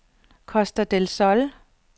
Costa del Sol